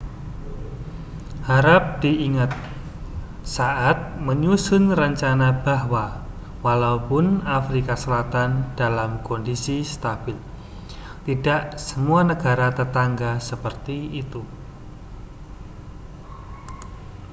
harap diingat saat menyusun rencana bahwa walaupun afrika selatan dalam kondisi stabil tidak semua negara tetangga seperti itu